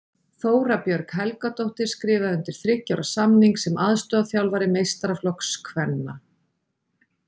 Þóra Björg Helgadóttir skrifaði undir þriggja ára samning sem aðstoðarþjálfari meistaraflokks kvenna.